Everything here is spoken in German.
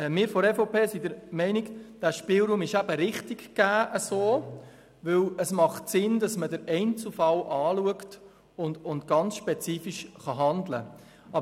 Die EVP ist der Meinung, dass dieser Spielraum richtig ist, weil es sinnvoll ist, dass man den Einzelfall anschauen und fallspezifisch handeln kann.